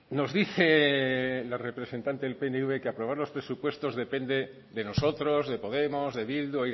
nos dice la representante del pnv que aprobar los presupuestos depende de nosotros de podemos de bildu